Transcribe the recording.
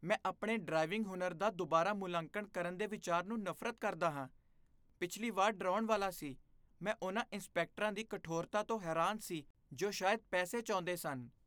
ਮੈਂ ਆਪਣੇ ਡਰਾਈਵਿੰਗ ਹੁਨਰ ਦਾ ਦੁਬਾਰਾ ਮੁਲਾਂਕਣ ਕਰਨ ਦੇ ਵਿਚਾਰ ਨੂੰ ਨਫ਼ਰਤ ਕਰਦਾ ਹਾਂ। ਪਿਛਲੀ ਵਾਰ ਡਰਾਉਣ ਵਾਲਾ ਸੀ। ਮੈਂ ਉਨ੍ਹਾਂ ਇੰਸਪੈਕਟਰਾਂ ਦੀ ਕਠੋਰਤਾ ਤੋਂ ਹੈਰਾਨ ਸੀ ਜੋ ਸ਼ਾਇਦ ਪੈਸੇ ਚਾਹੁੰਦੇ ਸਨ।